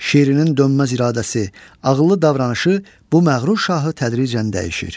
Şirinin dönməz iradəsi, ağıllı davranışı bu məğrur şahı tədricən dəyişir.